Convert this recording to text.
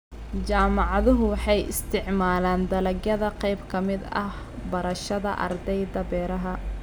Jaamacaduhu waxay isticmaalaan dalagyada qayb ka mid ah barashada ardayda beeraha.